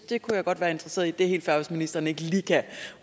det kunne jeg godt være interesseret i det er helt fair hvis ministeren ikke lige kan